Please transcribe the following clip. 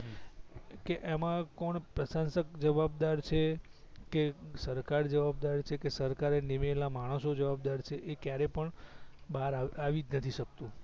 કે એમાં કોણ પ્રસાંસક જવાબદાર છે કે સરકાર જવાબદાર છે કે સરકારએ નિમેલા માણસો જવાબદાર છે એ ક્યારે પણ બહાર આવી જ નથી સક્તુ